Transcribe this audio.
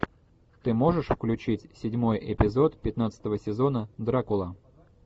ты можешь включить седьмой эпизод пятнадцатого сезона дракула